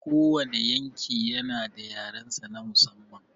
Kowane yanki yana da yarensa na musamman.